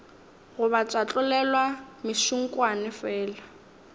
goba tša tlolelwa mešunkwane fela